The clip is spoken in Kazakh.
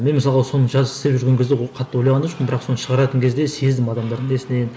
мен мысалға соны істеп жүрген кезде ол қатты ойлаған да жоқпын бірақ соны шығаратын кезде сездім адамдардың несінен